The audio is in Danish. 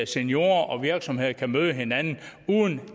seniorer og virksomheder møde hinanden uden